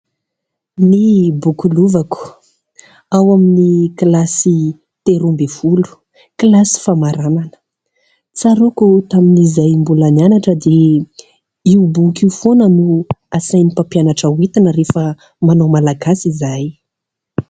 Ny boky Lovako ao amin'ny kilasy telo amby folo, kilasy famaranana. Tsaroako tamin'izahay mbola nianatra dia io boky io foana no asain'ny mpampianatra ho entina rehefa manao malagasy izahay.